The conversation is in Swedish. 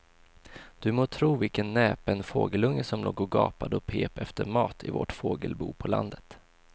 Du må tro vilken näpen fågelunge som låg och gapade och pep efter mat i vårt fågelbo på landet.